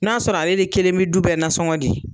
N'a sɔrɔ ale de kelen be du bɛɛ nansɔngo di.